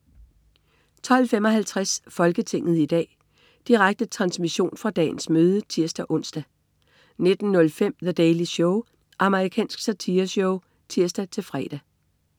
12.55 Folketinget i dag. Direkte transmission fra dagens møde (tirs-ons) 19.05 The Daily Show. Amerikansk satireshow (tirs-fre)